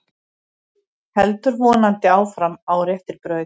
Heldur vonandi áfram á réttri braut